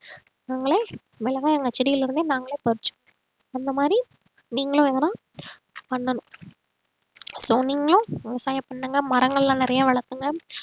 நாங்களே மிளகாய் எங்க செடியில இருந்து நாங்களே பறிச்சுக்கறோம் அந்த மாதிரி நீங்களும் எதுனா பண்ணணும் so நீங்களும் விவசாயம் பண்ணுங்க மரங்கள் எல்லாம் நிறைய வளர்த்துங்க